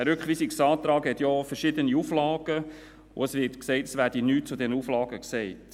Dieser Rückweisungsantrag hat ja verschiedene Auflagen, und es wird gesagt, es werde nichts zu diesen Auflagen gesagt.